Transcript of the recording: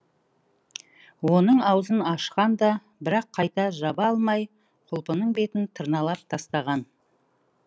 оның аузын ашқан да бірақ қайта жаба алмай құлпының бетін тырналап тастаған